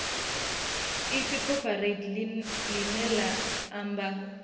ipfi cooperate ḽine ḽa amba